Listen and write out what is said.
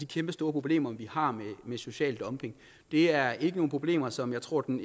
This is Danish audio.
kæmpestore problemer med social dumping det er ikke nogen problemer som jeg tror den